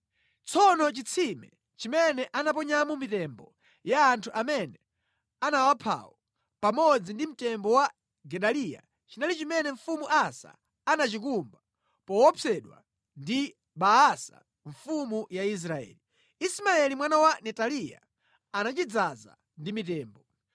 Tsono chitsime chimene anaponyamo mitembo ya anthu amene anawaphawo pamodzi ndi mtembo wa Gedaliya chinali chimene mfumu Asa anachikumba poopsedwa ndi Baasa mfumu ya Israeli. Ismaeli mwana wa Netaliya anachidzaza ndi mitembo.